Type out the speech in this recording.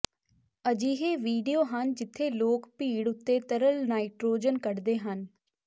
ਅਜਿਹੇ ਵੀਡੀਓ ਹਨ ਜਿੱਥੇ ਲੋਕ ਭੀੜ ਉੱਤੇ ਤਰਲ ਨਾਈਟ੍ਰੋਜਨ ਕੱਢਦੇ ਹਨ